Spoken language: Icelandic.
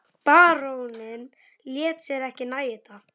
Baróninn lét sér ekki nægja þetta.